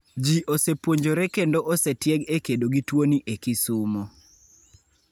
Ji osepuonjore kendo osetieg e kedo gi tuoni e Kisumo.